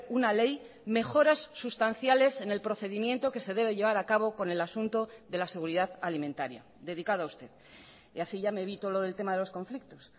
una ley mejoras sustanciales en el procedimiento que se debe llevar a cabo con el asunto de la seguridad alimentaria dedicado a usted y así ya me evito lo del tema de los conflictos